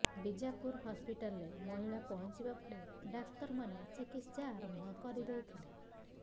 ବିଜାପୁର ହସପିଟାଲରେ ମହିଳା ପହଁଚିବା ପରେ ଡାକ୍ତର ମାନେ ଚିକିତ୍ସା ଆରମ୍ଭ କରିଦେଇଥିଲେ